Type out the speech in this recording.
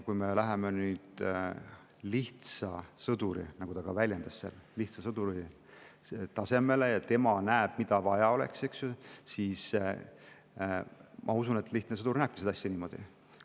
Kui me läheme nüüd lihtsa sõduri, nagu ta väljendas, tasemele ja tema näeb, mida vaja oleks, eks ju, siis ma usun, et lihtne sõdur näebki seda asja niimoodi.